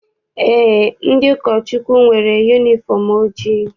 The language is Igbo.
Eé, ndị ụkọchukwu nwere yunifọm ojii.